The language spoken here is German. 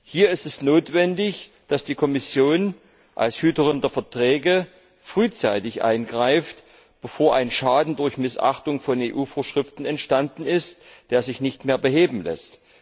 Hier ist es notwendig, dass die Kommission als Hüterin der Verträge frühzeitig eingreift, bevor ein Schaden durch Missachtung von EU Vorschriften entstanden ist, der sich nicht mehr beheben lässt.